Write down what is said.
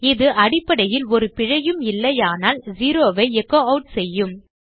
இது அடிப்படையில் ஒரு பிழையும் இல்லையானால் செரோ ஐ எச்சோ ஆட் செய்யும்